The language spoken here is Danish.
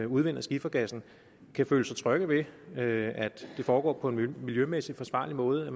udvinder skifergassen kan føle sig trygge ved at det foregår på en miljømæssigt forsvarlig måde at